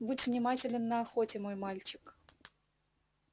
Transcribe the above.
будь внимателен на охоте мой мальчик